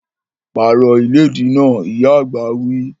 Pààrọ̀ ìlédìí náà! Ìyá àgbà wí